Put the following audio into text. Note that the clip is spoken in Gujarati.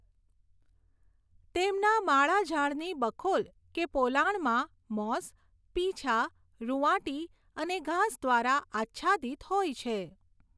તેમના માળા ઝાડની બખોલ કે પોલાણમાં મૉસ, પીંછા, રુંવાટી, અને ઘાસ દ્વારા આચ્છાદીત હોય છે.